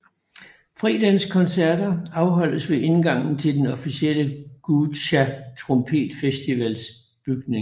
Fredagens koncerter afholdes ved indgangen til den officielle Guča Trompetfestivals bygning